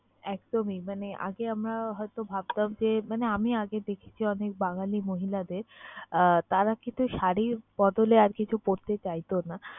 একদমই মানে আগে আমরা হয়তো ভাবতাম যে, মানে আমি আগে দেখেছি অনেক বাঙালি মহিলাদের আহ তারা কিন্তু শাড়ির বদলে আর কিছু পরতে চাইতো না